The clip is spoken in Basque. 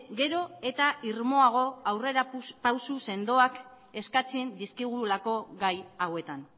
gero eta irmoago aurrera pausu sendoak eskatzen dizkigulako gai hauetan